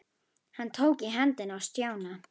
Hann tók í hendina á Stjána.